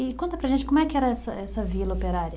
E conta para a gente como é que era essa essa vila operária?